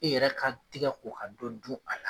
E yɛrɛ ka tigɛ ko ka dɔ dun a la.